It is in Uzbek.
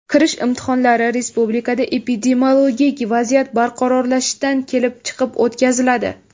Kirish imtihonlari respublikada epidemiologik vaziyat barqarorlashishidan kelib chiqib o‘tkaziladi.